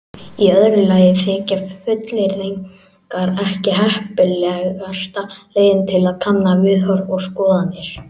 Í öðru lagi þykja fullyrðingar ekki heppilegasta leiðin til að kanna viðhorf og skoðanir.